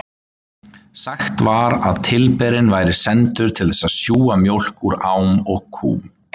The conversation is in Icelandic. Sagt var að tilberinn væri sendur til þess að sjúga mjólk úr ám og kúm.